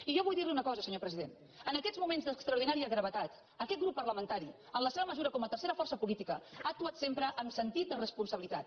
i jo vull dir li una cosa senyor president en aquests moments d’extraordinària gravetat aquest grup parlamentari en la seva mesura com a tercera força política ha actuat sempre amb sentit de responsabilitat